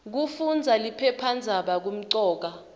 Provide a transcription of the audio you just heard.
kufundaza liphephandzaba kumcoka